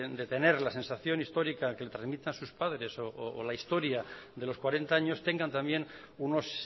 de tener la sensación histórica que le transmitan sus padres o la historia de los cuarenta años tengan también unos